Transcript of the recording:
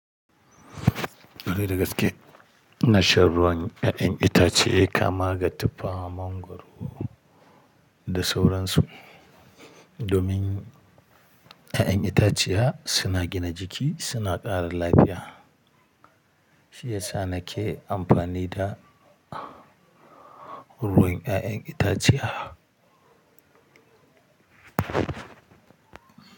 Kwarai da gaske ina shan ruwan 'ya'yan itace kamar da tuffa, mangwaro da sauransu. Domin 'ya'yan itaciya suna gina jiki suna ƙara lafiya. Shi yasa na ke amfani da ruwan 'ya'yan itaciya.